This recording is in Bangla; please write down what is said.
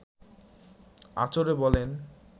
আঁচড়ে বলেন